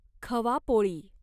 खवा पोळी